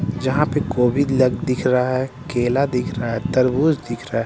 जहाँ पे दिख रहा है केला दिख रहा है तरबूज दिख रहा है।